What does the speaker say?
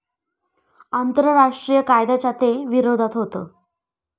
आंतरराष्ट्रीय कायद्याच्या ते विरोधात होतं.